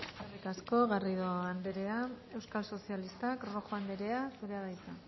eskerrik asko garrido anderea euskal sozialistak rojo anderea zurea da hitza